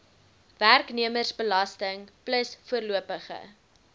werknemersbelasting plus voorlopige